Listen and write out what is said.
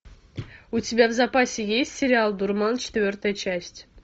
у тебя в запасе есть сериал дурман четвертая часть